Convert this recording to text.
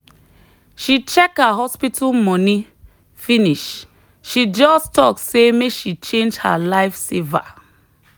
she check her hospital money finish she just talk say make she change her life saver